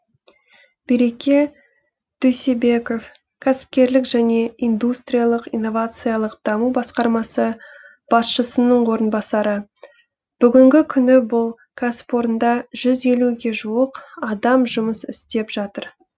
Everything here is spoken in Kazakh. береке дүйсебеков кәсіпкерлік және индустриялық инновациялық даму басқармасы басшысының орынбасары бүгінгі күні бұл кәсіпорында жүз елуге жуық адам жұмыс істеп жатыр